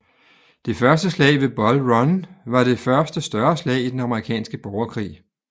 Det første slag ved Bull Run var det første større slag i den amerikanske borgerkrig